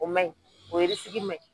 O ma ɲi, o ma ɲi.